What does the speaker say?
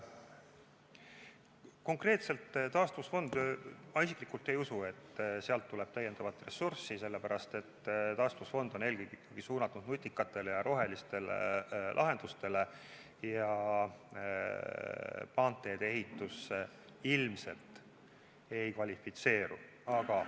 Konkreetselt taastusfond – ma isiklikult ei usu, et sealt tuleb lisaressurssi, sellepärast, et taastusfond on eelkõige ikkagi suunatud nutikatele ja rohelistele lahendustele, aga maanteede ehitusele ilmselt ei kvalifitseeru.